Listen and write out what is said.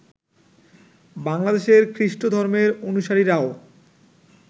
বাংলাদেশের খ্রিষ্ট ধর্মের অনুসারীরাও